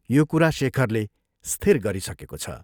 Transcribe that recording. यो कुरा शेखरले स्थिर गरिसकेको छ।